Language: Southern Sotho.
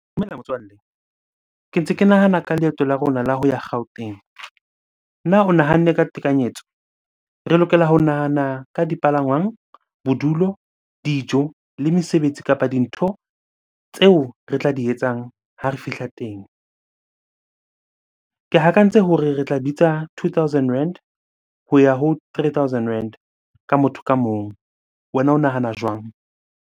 Dumela motswalle, ke ntse ke nahana ka leeto la rona la ho ya Gauteng. Na o nahanne ka tekanyetso? Re lokela ho nahana ka dipalangwang, bodulo, dijo le mesebetsi kapa dintho tseo re tla di etsang ha re fihla teng. Ke tse hore re tla bitsa two thousand rand ho ya ho three thousand rand ka motho ka mong. Wena o nahana jwang?